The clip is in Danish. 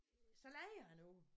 Så lejer jeg den ud